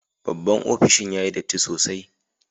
Babban opishin yayi datti sosai.